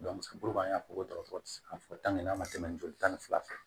an y'a fɔ ko dɔgɔtɔrɔ ti se ka fɔ n'a ma tɛmɛ joli tan ni fila fɛ